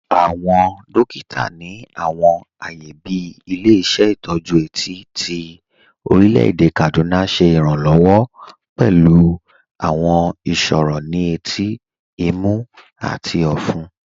Awọn dòkìtà ni awọn ààyè bí Ilẹ̀-ìṣẹ̀ Itọju Eti ti Orílẹ̀-èdè Kaduna ṣẹ iránlọ́wọ̀ pẹ̀lú awọn ìṣòro ni ètí, ìmú, àti ọ̀fún.